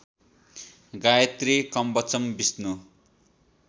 Gayatri Kavacham Vishnu